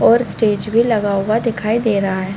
और स्टेज भी लगा हुआ दिखाई दे रहा हैं ।